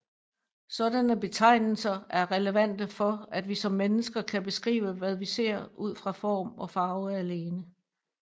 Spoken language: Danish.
Sådanne betegnelser er relevante for at vi som mennesker kan beskrive hvad vi ser ud fra form og farve alene